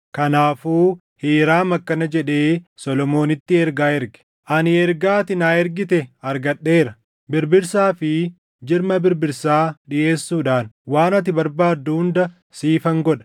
Kanaafuu Hiiraam akkana jedhee Solomoonitti ergaa erge: “Ani ergaa ati naa ergite argadheera; birbirsaa fi jirma birbirsaa dhiʼeessuudhaan waan ati barbaaddu hunda siifan godha.